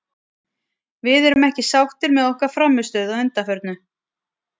Við erum ekki sáttir með okkar frammistöðu að undanförnu.